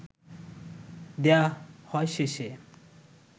দেয়া হয় শেষে